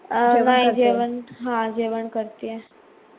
जेवण हा जेवण करती आहे.